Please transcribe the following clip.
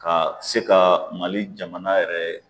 Ka se ka mali jamana yɛrɛ